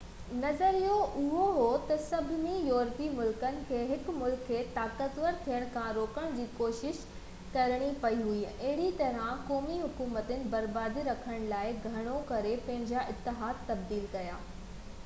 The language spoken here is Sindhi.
نظريو اهو هو تہ سڀني يورپي ملڪن کي هڪ ملڪ کي طاقتور ٿيڻ کان روڪڻ جي ڪوشش ڪرڻي پئي هئي ۽ اهڙي طرح قومي حڪومتن برابري رکڻ لاءِ گهڻو ڪري پنهنجا اتحاد تبديل ڪيا